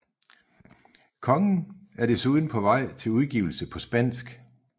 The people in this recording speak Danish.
Kongen er desuden på vej til udgivelse på spansk